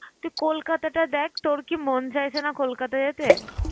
তুই কলকাতাটা দেখ। তোর কি মন চাইছে না কলকাতা যেতে?